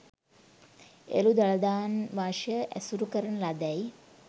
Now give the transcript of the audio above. එළු දළදාංවශය ඇසුරු කරන ලදැයි